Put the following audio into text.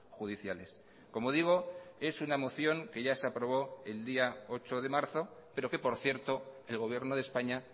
judiciales como digo es una moción que ya se aprobó el día ocho de marzo pero que por cierto el gobierno de españa